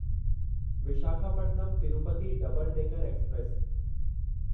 Visakhapatnam Tirupati double decker express